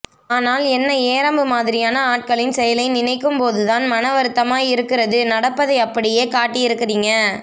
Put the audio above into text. ஆனால் என்ன ஏரம்பு மாதிரியான ஆட்களின் செயலை நினைக்கும் போது தான் மன வருத்தமாக இருக்குறது நடப்பதை அப்படியே காட்டியிருக்குறிங்க